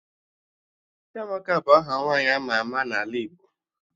Chiamaka bụ aha nwaanyị ama ama n'ala Igbo